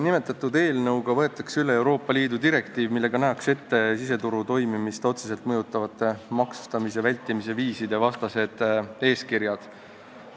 Nimetatud eelnõuga võetakse üle Euroopa Liidu direktiiv, millega nähakse ette siseturu toimimist otseselt mõjutavate maksustamise vältimise viiside vastased eeskirjad.